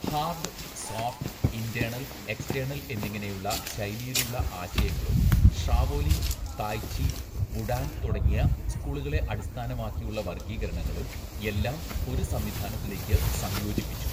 Hard, soft, internal, external എന്നിങ്ങനെയുള്ള ശൈലിയിലുള്ള ആശയങ്ങളും ഷാവോലിൻ, തായ് ചി, വുഡാങ് തുടങ്ങിയ സ്‌കൂളുകളെ അടിസ്ഥാനമാക്കിയുള്ള വർഗ്ഗീകരണങ്ങളും എല്ലാം ഒരു സംവിധാനത്തിലേക്ക് സംയോജിപ്പിച്ചു.